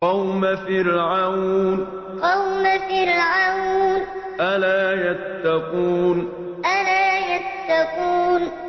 قَوْمَ فِرْعَوْنَ ۚ أَلَا يَتَّقُونَ قَوْمَ فِرْعَوْنَ ۚ أَلَا يَتَّقُونَ